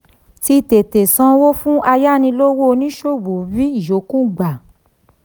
tí tètè sanwó fún ayánilówó oníṣòwò rí ìyọkúrò gbà.